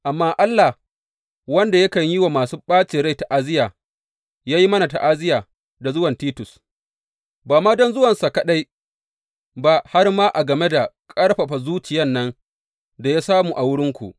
Amma Allah, wanda yakan yi wa masu ɓacin rai ta’aziyya ya yi mana ta’aziyya da zuwan Titus, ba ma don zuwansa kaɗai ba, har ma a game da ƙarfafa zuciyan nan da ya samu a wurinku.